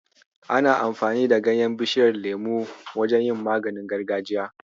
Ana amfani da ganyen Bishiyar lemo wajen yin maganin gargajiya.